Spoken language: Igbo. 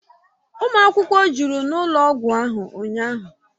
Ụmụ akwụkwọ jụrụ n'ụlọ ọgwụ ahụ ụnyahụ